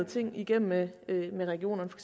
ting igennem med regionerne på